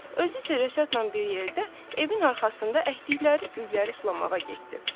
Özü isə Rəşadla bir yerdə evin arxasında əkdikləri gülləri sulamağa getdi.